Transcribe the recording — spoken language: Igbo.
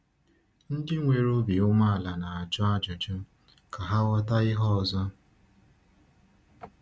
Ndị nwere obi umeala na-ajụ ajụjụ ka ha ghọta ihe ọzọ.